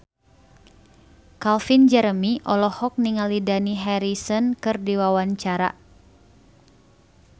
Calvin Jeremy olohok ningali Dani Harrison keur diwawancara